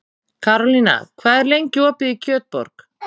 Karólína, hvað er lengi opið í Kjötborg?